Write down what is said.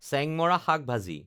চেংমৰা শাক ভাজি